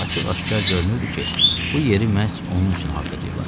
Açıq-aşkar görünürdü ki, bu yeri məhz onun üçün hazırlayıblar.